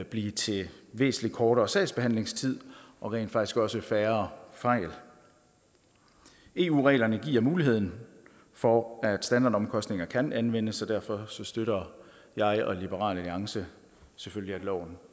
blive til væsentlig kortere sagsbehandlingstid og rent faktisk også færre fejl eu reglerne giver muligheden for at standardomkostninger kan anvendes så derfor støtter jeg og liberal alliance selvfølgelig at loven